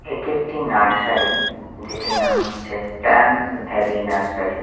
এটা একটি নার্সারি যেটির নাম হচ্ছে প্ল্যান্টস ভ্যালী নার্সারি ।